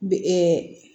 Bi